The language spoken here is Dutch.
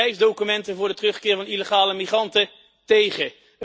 Reisdocumenten voor de terugkeer van illegale migranten tegen.